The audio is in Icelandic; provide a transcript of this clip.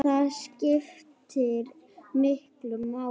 Það skiptir miklu máli.